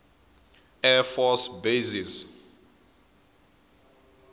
air force bases